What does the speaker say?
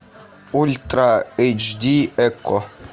ультра эйч ди окко